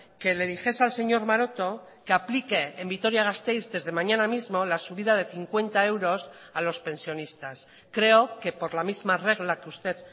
que le dijese al señor maroto que aplique en vitoria gasteiz desde mañana mismo la subida de cincuenta euros a los pensionistas creo que por la misma regla que usted